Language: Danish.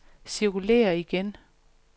cirkulér igen